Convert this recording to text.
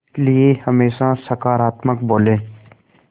इसलिए हमेशा सकारात्मक बोलें